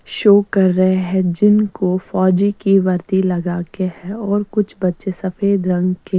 शोक कर रहे है जिनको फोजी की वर्दी लगा के है और कुछ बच्चे सफ़ेद रंग के --